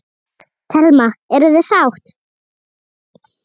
Telma: Eruð þið sátt?